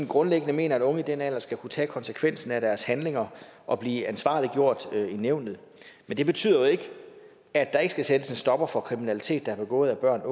grundlæggende mener at unge i den alder skal kunne tage konsekvensen af deres handlinger og blive ansvarliggjort i nævnet men det betyder jo ikke at der ikke skal sættes en stopper for kriminalitet der er begået af børn